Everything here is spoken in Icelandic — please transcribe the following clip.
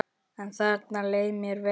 En þarna leið mér vel.